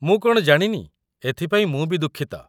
ମୁଁ କ'ଣ ଜାଣିନି! ଏଥିପାଇଁ ମୁଁ ବି ଦୁଃଖିତ ।